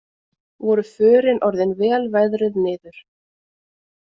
Voru förin orðin vel veðruð niður